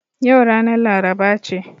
Yau ranar laraba ce